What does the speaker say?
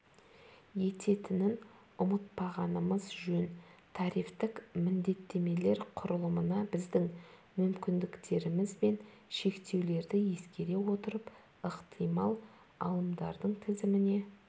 ететінін ұмытпағанымыз жөн тарифтік міндеттемелер құрылымына біздің мүмкіндіктеріміз бен шектеулерді ескере отырып ықтимал алымдардың тізіміне